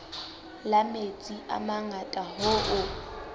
la metsi a mangata hoo